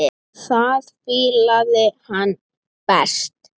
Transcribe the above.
Það fílaði hann best.